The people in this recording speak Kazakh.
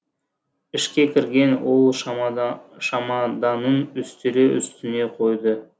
ішке кірген ол шамаданын үстел үстіне қойды